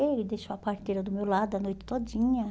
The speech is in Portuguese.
Ele deixou a parteira do meu lado a noite todinha.